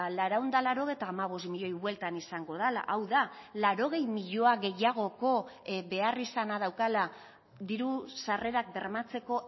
laurehun eta laurogeita hamabost milioi bueltan izango dela hau da laurogei milioi gehiagoko beharrizana daukala diru sarrerak bermatzeko